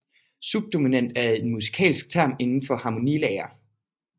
Subdominant er en musikalsk term inden for harmonilære